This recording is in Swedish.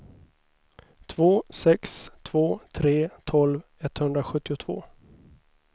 två sex två tre tolv etthundrasjuttiotvå